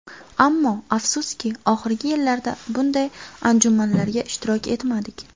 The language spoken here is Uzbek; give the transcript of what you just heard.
Ammo, afsuski, oxirgi yillarda bunday anjumanlarda ishtirok etmadik.